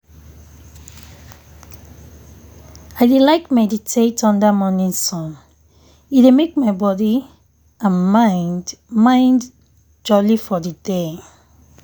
i dey like meditate under morning sun e dey make my body and mind mind jolly for the day.